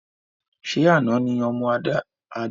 Ṣé àna ni ọmọ Adé fi ìka mímú sílẹ̀?